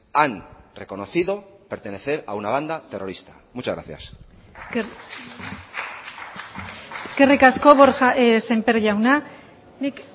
han reconocido pertenecer a una banda terrorista muchas gracias eskerrik asko borja sémper jauna nik